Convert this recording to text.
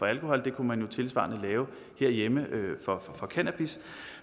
alkohol det kunne man tilsvarende lave herhjemme for cannabis